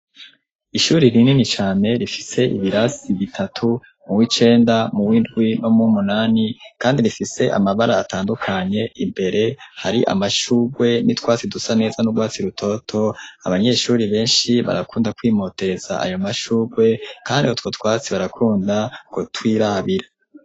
Ishuri rinini cane rifise ibirasi bitatu, mu w'icenda, mu w'indwi no mu w'umunani, kandi rifise amabara atandukanye, imbere hari amashurwe n'utwatsi dusa neza n'urwatsi rutoto, abanyeshuri benshi barakunda kwimotereza ayo mashurwe, kandi utwo twatsi barakunda kutwirabira.